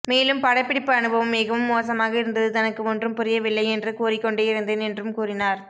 மேலும் படப்பிடிப்பு அனுபவம் மிகவும் மோசமாக இருந்தது தனக்கு ஒன்றும் புரியவில்லை என்று கூறிக்கொண்டே இருந்தேன் என்றும் கூறினார்